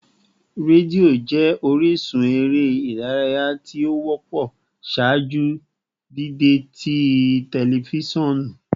Redio jẹ orisun ere idaraya ti o wọpọ ṣaaju dide ti tẹlifisiọnu